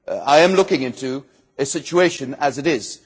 I am looking at a situation as it is.